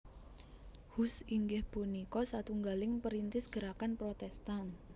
Hus inggih punika satunggaling perintis gerakan Protestan